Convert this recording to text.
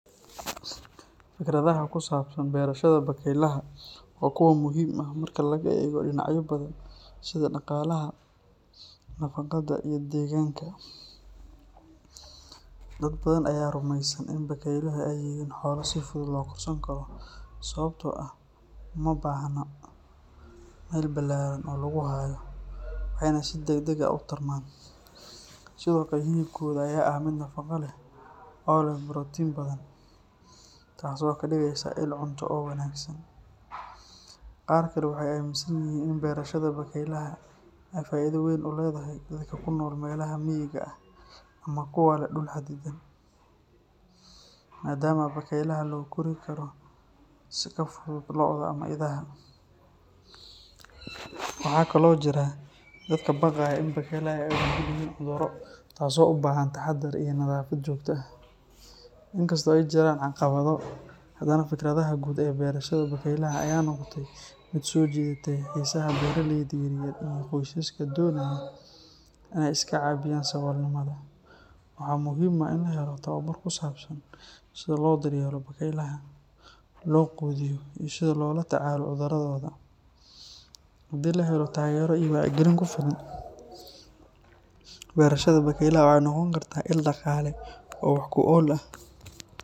Fikraddaha ku saabsan berashada bakaylaha waa kuwo muhiim ah marka laga eego dhinacyo badan sida dhaqaalaha, nafaqada, iyo deegaanka. Dad badan ayaa rumaysan in bakaylaha ay yihiin xoolo si fudud loo korsan karo sababtoo ah ma baahna meel ballaaran oo lagu hayo, waxayna si degdeg ah u tarmaan. Sidoo kale, hilibkooda ayaa ah mid nafaqo leh oo leh borotiin badan, taasoo ka dhigaysa il cunto oo wanaagsan. Qaar kale waxay aaminsan yihiin in berashada bakaylaha ay faa’iido weyn u leedahay dadka ku nool meelaha miyiga ah ama kuwa leh dhul xadidan, maadaama bakaylaha loo kori karo si ka fudud lo’da ama idaha. Waxaa kale oo jira dad ka baqaya in bakaylaha ay u nugul yihiin cudurro, taasoo u baahan taxadar iyo nadaafad joogto ah. Inkasta oo ay jiraan caqabado, haddana fikradda guud ee berashada bakaylaha ayaa noqotay mid soo jiidatay xiisaha beeralayda yaryar iyo qoysaska doonaya inay iska caabiyaan saboolnimada. Waxaa muhiim ah in la helo tababar ku saabsan sida loo daryeelo bakaylaha, loo quudiyo, iyo sida loola tacaalo cudurradooda. Haddii la helo taageero iyo wacyigelin ku filan, berashada bakaylaha waxay noqon kartaa il dhaqaale oo wax ku ool ah.